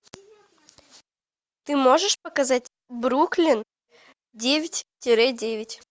ты можешь показать бруклин девять тире девять